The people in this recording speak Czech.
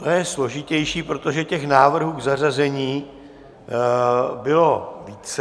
To je složitější, protože těch návrhů k zařazení bylo více.